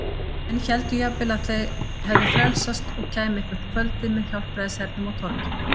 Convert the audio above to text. Menn héldu jafnvel að þau hefðu frelsast og kæmu eitthvert kvöldið með hjálpræðishernum á torgið.